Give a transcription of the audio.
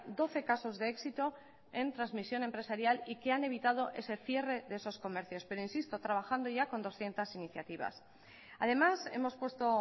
doce casos de éxito en transmisión empresarial y que han evitado ese cierre de esos comercios pero insisto trabajando ya con doscientos iniciativas además hemos puesto